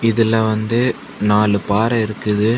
இதுல வந்து நாலு பாறை இருக்குது.